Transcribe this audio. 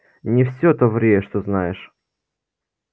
не все то ври что знаешь